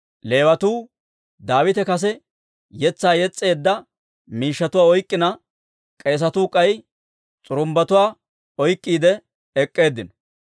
Leewatuu Daawite kase yetsaa yes's'eedda miishshatuwaa oyk'k'ina, k'eesatuu k'ay s'urumbbatuwaa oyk'k'iide ek'k'eeddinno.